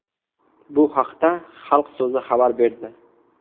Bu haqda Xalq so‘zi xabar berdi .